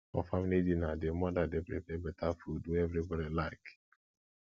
for family family dinner di mother dey prepare better food wey everybody like